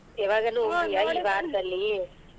ಯಾವಾಗಲೂ ಹೋಗಿದ್ಯಾ ಈ ಒಂದ್ ವಾರದಲ್ಲಿ.